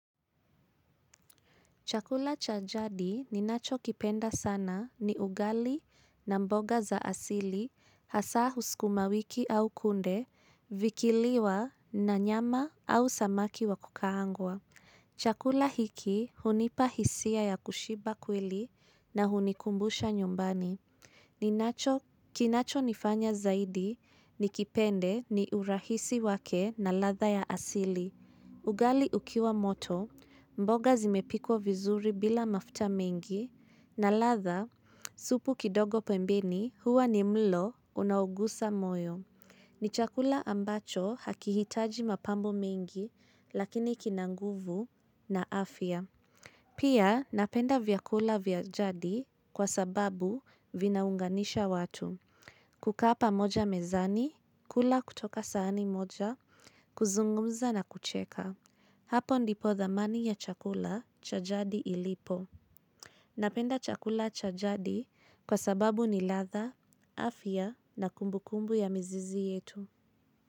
Chakula cha jadi ninachokipenda sana ni ugali na mboga za asili, hasa sukuma wiki au kunde, vikiliwa na nyama au samaki wa kukaangwa. Chakula hiki hunipa hisia ya kushiba kweli na hunikumbusha nyumbani. Kinachonifanya zaidi ni kipende ni urahisi wake na ladha ya asili. Ugali ukiwa moto, mboga zimepikwa vizuri bila mafuta mengi, na ladhaa, supu kidogo pembeni huwa ni mlo unaugosa moyo. Nichakula ambacho hakihitaji mapambo mengi, lakini kinabnguvu na afya. Pia napenda vyakula vya jadi kwa sababu vinaunganisha watu. Kukaa pamoja mezani, kula kutoka sahani moja, kuzungumza na kucheka. Hapo ndipo dhamani ya chakula cha jadi ilipo. Napenda chakula cha jadi kwa sababu ni ladhaa, afya na kumbu kumbu ya mizizi yetu.